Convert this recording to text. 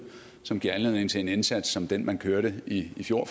som giver anledning til en indsats som den man kørte i fjor